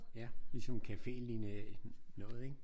Ja. Ligesom cafélignende noget ik?